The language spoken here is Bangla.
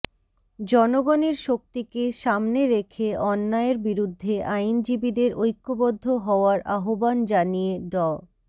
জনগণের শক্তিকে সামনে রেখে অন্যায়ের বিরুদ্ধে আইনজীবীদের ঐক্যবদ্ধ হওয়ার আহ্বান জানিয়ে ড